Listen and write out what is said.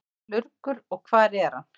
Hvað er lurgur og hvar er hann?